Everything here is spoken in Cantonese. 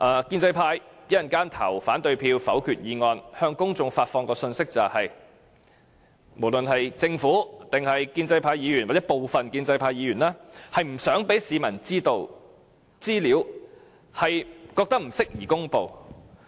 建制派稍後如果投反對票否決議案，將會向公眾發放的信息是，政府、建制派議員或部分建制派議員不想讓市民知道的資料是不宜公布的。